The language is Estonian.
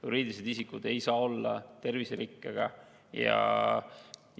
Juriidilised isikud ei saa olla terviserikkega ja